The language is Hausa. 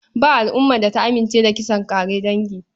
Ba al'umar da ta amince da kisan ƙare dangi.